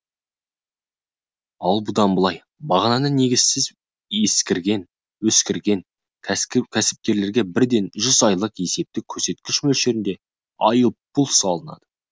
ал бұдан былай бағаны негізсіз өсірген кәсіпкерлерге бірден жүз айлық есептік көрсеткіш мөлшерінде айыппұл салынады